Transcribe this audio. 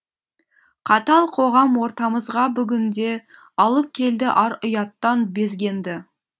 қатал қоғам ортамызға бүгінде алып келді ар ұяттан безгенді